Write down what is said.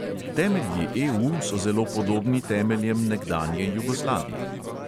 Temelji EU so zelo podobni temeljem nekdanje jugoslavije.